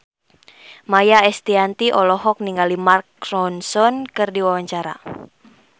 Maia Estianty olohok ningali Mark Ronson keur diwawancara